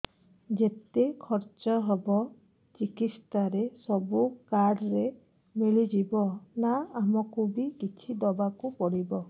ଯେତେ ଖର୍ଚ ହେବ ଚିକିତ୍ସା ରେ ସବୁ କାର୍ଡ ରେ ମିଳିଯିବ ନା ଆମକୁ ବି କିଛି ଦବାକୁ ପଡିବ